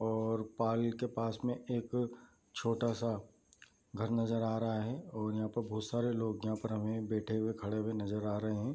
और पाल के पास में एक छोटा सा घर नज़र आ रहा है और यहाँ पे बहुत सारे लोग यहाँ पर बैठे हुए खड़े हुए नज़र आ रहे हैं।